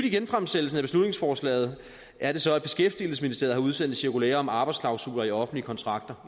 i genfremsættelsen af beslutningsforslaget er det så at beskæftigelsesministeriet udsendt et cirkulære om arbejdsklausuler i offentlige kontrakter